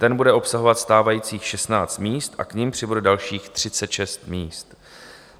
Ten bude obsahovat stávajících 16 míst a k nim přibude dalších 36 míst.